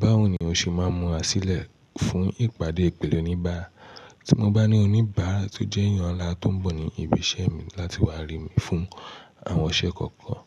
Báwo ni o ṣe máa ń múra sílẹ̀ fún ìpàdé pẹ̀lú oníbàárà? Tí mo bá ní oníbàárà tó jẹ́ èèyàn ńlá tó ń bọ̀ ní ibi iṣẹ́ mi láti wá rí mi fún àwọn iṣẹ́ kookan,